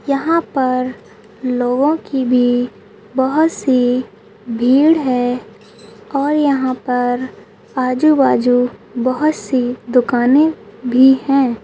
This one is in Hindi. यहा पर लोगो की भी बहुतसी भीड है और यहा पर आजू बाजू बहुत सी दुकाने भी है।